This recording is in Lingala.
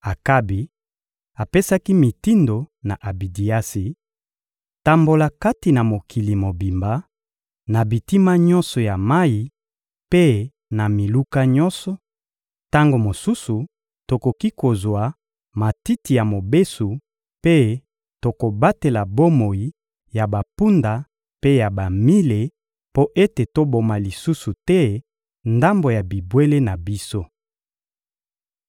Akabi apesaki mitindo na Abidiasi: «Tambola kati na mokili mobimba, na bitima nyonso ya mayi mpe na miluka nyonso; tango mosusu tokoki kozwa matiti ya mobesu mpe tokobatela bomoi ya bampunda mpe ya bamile mpo ete toboma lisusu te ndambo ya bibwele na biso.»